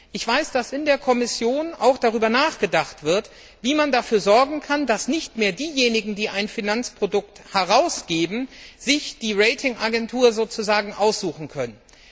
Ich weiß, dass in der Kommission auch darüber nachgedacht wird, wie man dafür sorgen kann, dass sich diejenigen, die ein Finanzprodukt herausgeben, die Rating Agentur nicht mehr sozusagen aussuchen können.